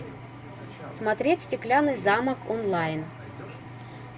смотреть стеклянный замок онлайн